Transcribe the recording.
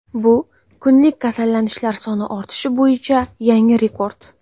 Bu kunlik kasallanishlar soni ortishi bo‘yicha yangi rekord.